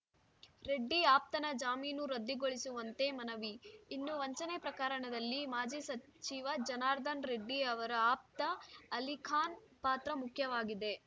ರೆಡ್ಡಿ ಆಪ್ತನ ಜಾಮೀನು ರದ್ದುಗೊಳಿಸುವಂತೆ ಮನವಿ ಇನ್ನು ವಂಚನೆ ಪ್ರಕರಣದಲ್ಲಿ ಮಾಜಿ ಸಚಿವ ಜನಾರ್ದನ ರೆಡ್ಡಿ ಅವರ ಆಪ್ತ ಅಲಿಖಾನ್‌ ಪಾತ್ರ ಮುಖ್ಯವಾಗಿದೆ